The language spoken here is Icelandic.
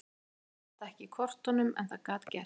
Ég sá þetta ekki í kortunum en það gat gerst.